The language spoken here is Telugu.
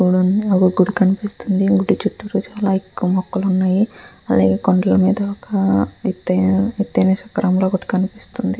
ఒక గుడి కనిపిస్తుంది. అక్కడ చుట్టూరా చాలా ఎక్కువ మొక్కలు ఉన్నాయి. అలాగే కొండలు మీద ఎత్తైన ఎత్తైన శిఖరం ఒకటి కనిపిస్తుంది.